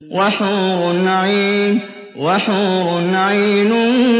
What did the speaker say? وَحُورٌ عِينٌ